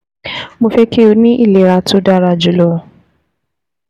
Mo fẹ́ kí o ní ìlera tó dára jù lọ